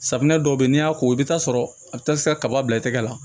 Safunɛ dɔw bɛ yen n'i y'a ko i bɛ t'a sɔrɔ a bɛ taa se kaba bila i tɛgɛ la